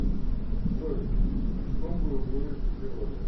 джой что бы вы сделали